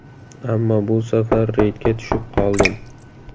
Ammo bu safar reydga tushib qoldim.